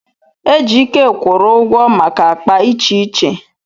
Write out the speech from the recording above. Ejike kwụrụ ụgwọ maka akpa iche iche.